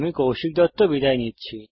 আমি কৌশিক দত্ত বিদায় নিচ্ছি